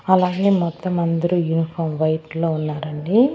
అలానే మొత్తం అందరు యూనిఫాం వైట్ లో ఉన్నారండి.